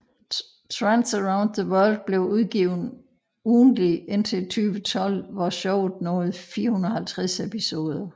Trance Around The World blev udgivet ugentligt indtil 2012 hvor showet nåede 450 episoder